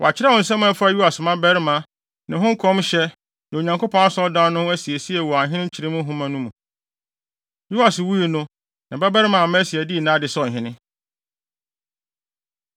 Wɔakyerɛw nsɛm a ɛfa Yoas mmabarima, ne ho nkɔmhyɛ, ne Onyankopɔn Asɔredan no asiesie wɔ Ahene nkyerɛmu nhoma no mu. Yoas wui no, ne babarima Amasia dii nʼade sɛ ɔhene.